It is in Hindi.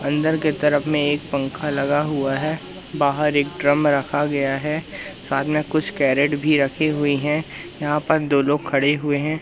अंदर के तरफ में एक पंखा लगा हुआ है बाहर एक ड्रम रखा गया है साथ में कुछ कैरेट भी रखी हुई हैं यहां पर दो लोग खड़े हुए हैं।